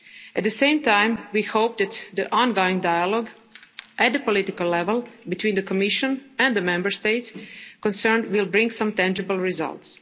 closely. At the same time, we hope that the ongoing dialogue at the political level between the Commission and the Member States concerned will bring some tangible